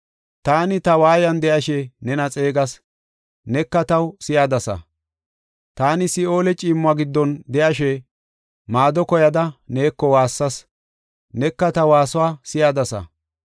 “Taani ta waayan de7ashe nena xeegas; neka taw si7adasa. Taani Si7oole ciimmuwa giddon de7ashe, maado koyada neeko waassas Neka ta waasuwa si7adasa.